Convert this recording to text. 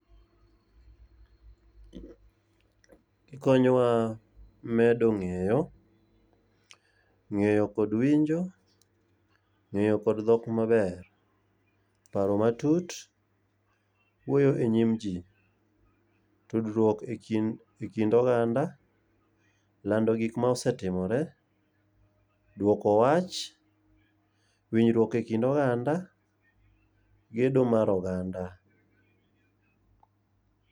Gikonyowa medo ng'eyo, ng'eyo kod winjo, ng'eyo kod dhok maber. Paro matut, wuoyo e nyim ji, tudruok e kind oganda, lando gik ma osetimore, dwoko wach. Winjruok e kind oganda, gedo mar oganda.